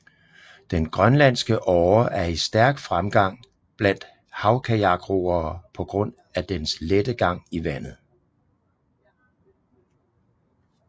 Den grønlandske åre er i stærk fremgang blandt havkajakroere på grund af dens lette gang i vandet